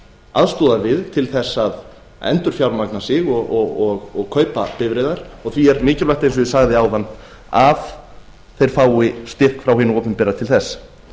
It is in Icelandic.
aðstoðar við til þess að endurfjármagna sig og kaupa bifreiðar og því er mikilvægt eins og ég sagði áðan að þeir fái styrk frá hinu opinbera til þess